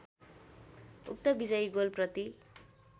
उक्त विजयी गोलप्रति